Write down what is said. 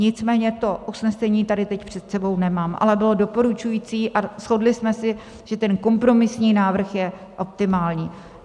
Nicméně to usnesení tady teď před sebou nemám, ale bylo doporučující, a shodli jsme se, že ten kompromisní návrh je optimální.